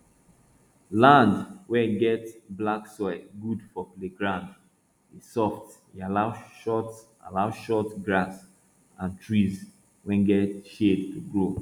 land wey get black soil good for play ground e soft e allow short allow short grass and trees wey get shade to grow